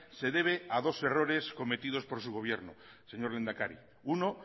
se debe a dos errores cometidos por su gobierno señor lehendakari uno